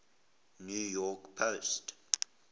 new york post